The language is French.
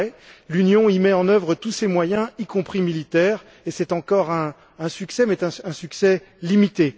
c'est vrai, l'Union y met en œuvre tous ses moyens, y compris militaires, et c'est encore un succès, mais un succès limité.